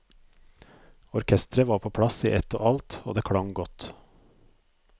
Orkestret var på plass i ett og alt, og det klang godt.